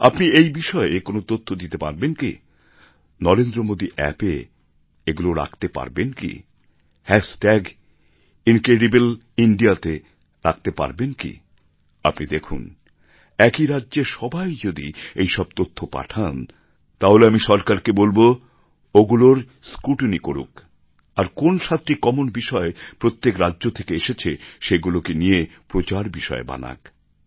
আপনি এই বিষয়ে কোন তথ্য দিতে পারবেন কি নরেন্দ্রমোদীঅপ্প এ এগুলো রাখতে পারবেন কি হ্যাশ ট্যাগ ইনক্রেডিবল ইন্দিয়া তে রাখতে পারবেন কি আপনি দেখুন একই রাজ্যের সবাই যদি এইসব তথ্য পাঠান তাহলে আমি সরকারকে বলবো ওগুলোর স্ক্রুটিনি করুক আর কোন সাতটি কমন বিষয় প্রত্যেক রাজ্য থেকে এসেছে সেইগুলোকে নিয়ে প্রচার বিষয় বানাক